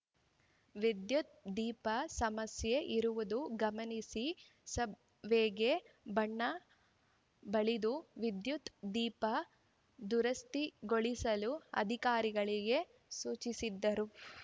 ವಿದ್ಯುತ್‌ ದೀಪ ಸಮಸ್ಯೆ ಇರುವುದು ಗಮನಿಸಿ ಸಬ್‌ವೇಗೆ ಬಣ್ಣ ಬಳಿದು ವಿದ್ಯುತ್‌ ದೀಪ ದುರಸ್ತಿಗೊಳಿಸಲು ಅಧಿಕಾರಿಗಳಿಗೆ ಸೂಚಿಸಿದರು